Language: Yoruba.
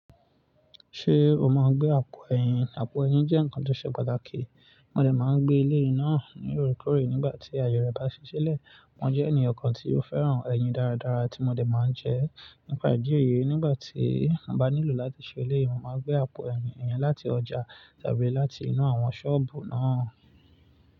Ṣé o máa ń gbé àpò ẹ̀yìn? Àpò ẹ̀yìn jẹ́ nǹkan tó ṣe pàtàkì. Mo dẹ̀ máa ń gbé eleyii náà ní orekore nígbà tí àyè rẹ̀ bá ṣiṣẹ́ lẹ̀. Mo jẹ́ ènìyàn kan tí ó fẹ́ràn ẹ̀yìn dáradára tí mo dẹ̀ máa ń jẹ. Nípa ìdí èyí, nígbà tí mo bá nílò láti ṣe eleyii, màá gbé àpò ẹ̀yìn yẹn láti ọjà tàbí láti inú àwọn ṣọ́ọ̀bù náà.